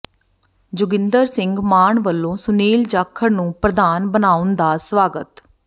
ਜੋਗਿੰਦਰ ਸਿੰਘ ਮਾਨ ਵੱਲੋਂ ਸੁਨੀਲ ਜਾਖੜ ਨੂੰ ਪ੍ਰਧਾਨ ਬਣਾਉਣ ਦਾ ਸਵਾਗਤ